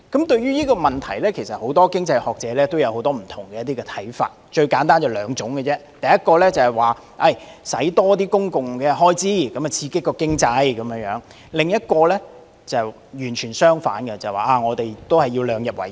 對於這個問題，很多經濟學者有不同看法，簡單而言可分為兩類，第一類主張增加公共開支刺激經濟；另一類則完全相反，主張審慎理財、量入為出。